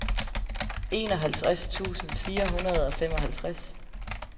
enoghalvtreds tusind fire hundrede og femoghalvtreds